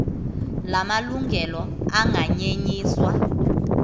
la malungelo anganyenyiswa